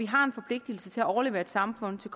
har en forpligtelse til at overlevere et samfund til